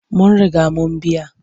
Mun riga mun biya.